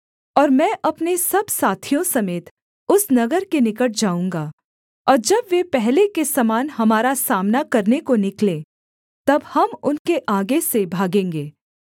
और मैं अपने सब साथियों समेत उस नगर के निकट जाऊँगा और जब वे पहले के समान हमारा सामना करने को निकलें तब हम उनके आगे से भागेंगे